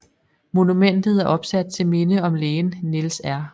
Monumentet er opsat til minde om lægen Niels R